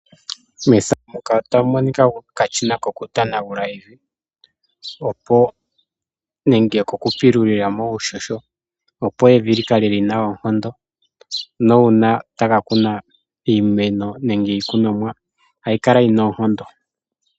Okashina kokupilula evi, opo likale lina oonkondo. Uuna omuntu taka kuna iikunomwa ohayi kala yina oonkondo.